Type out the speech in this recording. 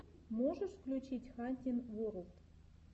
можешь включить хантин ворлд